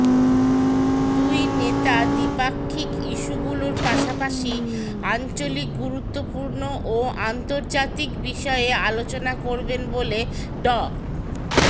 দুই নেতা দ্বিপাক্ষিক ইস্যুগুলোর পাশাপাশি আঞ্চলিক গুরুত্বপূর্ণ ও আন্তর্জাতিক বিষয়ে আলোচনা করবেন বলে ড